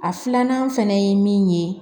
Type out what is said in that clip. A filanan fɛnɛ ye min ye